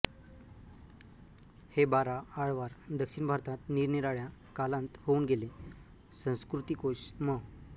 हे बारा आळवार दक्षिण भारतांत निरनिराळ्या कालांत होऊन गेले संस्कृतिकोश म